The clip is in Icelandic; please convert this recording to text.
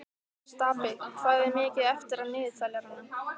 Stapi, hvað er mikið eftir af niðurteljaranum?